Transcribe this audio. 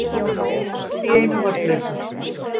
Allt í einu var flautað.